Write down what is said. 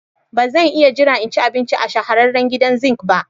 Ba zan iya jira in ci abinci a shahararren gidan zink ba.